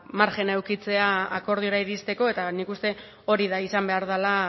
marjina edukitzea akordiora iristeko eta nik uste hori dela izan behar dela